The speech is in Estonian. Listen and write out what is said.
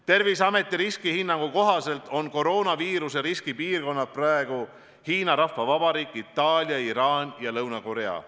Terviseameti riskihinnangu kohaselt on koroonaviiruse riski piirkonnad praegu Hiina Rahvavabariik, Itaalia, Iraan ja Lõuna-Korea.